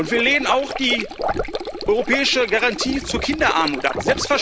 Wir lehnen auch die europäische Garantie zur Kinderarmut ab.